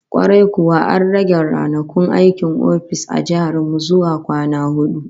Kwarai kuwa, an rage ranakun aikin ofis a jihar mu zuwa kwana hudu